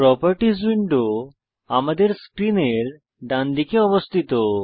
properties window আমাদের স্ক্রিনের ডানদিকে অবস্থিত